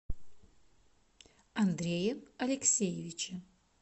андрее алексеевиче